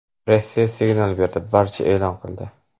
Rossiya signal berdi, barcha e’lon qildi.